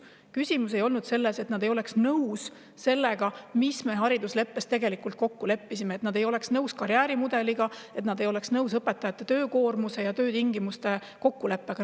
Küsimus ei olnud selles, et nad ei oleks nõus sellega, milles me haridusleppes kokku leppisime: et nad ei oleks nõus karjäärimudeliga ning õpetajate töökoormuse ja töötingimuste kokkuleppega.